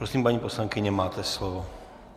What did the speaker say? Prosím, paní poslankyně, máte slovo.